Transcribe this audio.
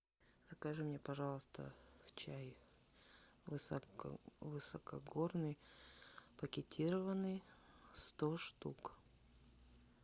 закажи мне пожалуйста чай высокогорный пакетированный сто штук